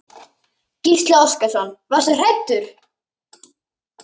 Gísli Óskarsson: Varstu hræddur?